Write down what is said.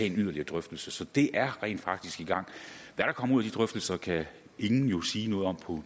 en yderligere drøftelse så det er rent faktisk i gang hvad der kommer ud af de drøftelser kan ingen jo sige noget om